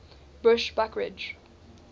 bushbuckridge